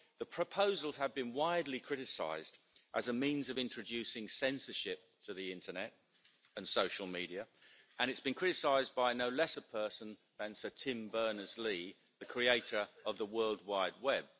The proposals have been widely criticised as a means of introducing censorship to the internet and social media, and it has been criticised by no less a person than Sir Tim Berners Lee, the creator of the World Wide Web.